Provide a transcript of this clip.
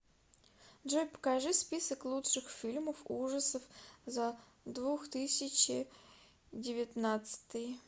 джой покажи список лучших фильмов ужасов за двух тысячи девятнадцатый